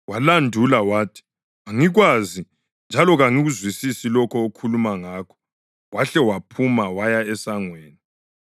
Walandula. Wathi, “Angikwazi njalo kangikuzwisisi lokho okhuluma ngakho.” Wahle waphuma waya esangweni.